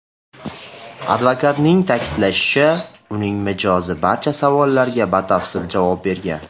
Advokatning ta’kidlashicha, uning mijozi barcha savollarga batafsil javob bergan.